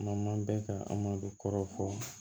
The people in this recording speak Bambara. N'an man bɛn ka an ma don kɔrɔ fɔ